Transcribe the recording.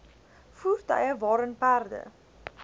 voertuie waarin perde